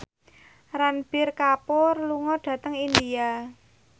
Ranbir Kapoor lunga dhateng India